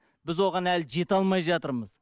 біз оған әлі жете алмай жатырмыз